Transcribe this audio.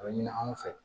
A bɛ ɲini anw fɛ